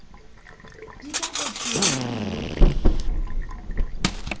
di ka etsuwang di le